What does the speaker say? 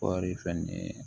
Kɔɔri fɛnɛ ye